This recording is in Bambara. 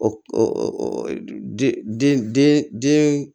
O den den den den den